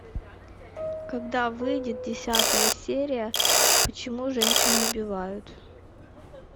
когда выйдет десятая серия почему женщины убивают